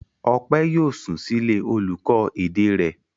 Ọpẹ́ yóò sùn sílé olùkọ́ èdè rẹ̀?